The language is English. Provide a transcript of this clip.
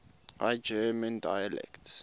high german dialects